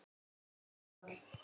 Þetta var áfall.